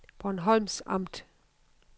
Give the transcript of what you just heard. Bornholms Amt